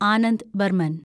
Anand Barman